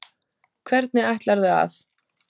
Hvernig ætlarðu að?